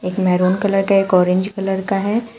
एक maroon colour का एक ऑरेंज कलर का है।